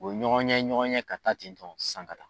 U be ɲɔgɔn ɲɛ, ɲɔgɔn ɲɛ ka taa ten nɔn sanga la